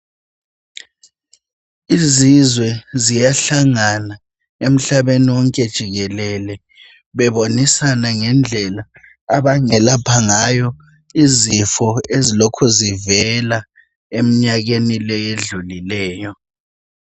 Izizwe ziyahlangana emhlabeni wonke jikelele, bebonisana ngendlela abangelapha ngayo izifo ezilokhu zivela emnyakeni leyi edlulileyo.